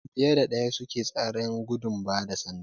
Mutum fiye da ɗaya suke tseren gudun bada sanda